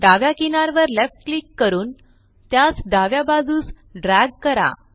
डाव्या किनारवर left click करून त्यास डाव्या बाजूस ड्रॅग करा